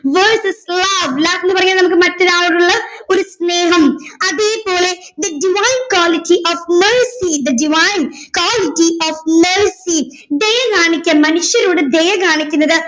verses Love love എന്ന് പറഞ്ഞാൽ നമുക്ക് മറ്റൊരാളോടുള്ള ഒരു സ്നേഹം അതേപോലെ the divine quality of mercy the divine quality of mercy ദയ കാണിക്കൽ മനുഷ്യരോട് ദയ കാണിക്കുന്നത്